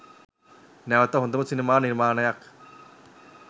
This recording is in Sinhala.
නැවත හොදම සිනමා නිර්මාණයක්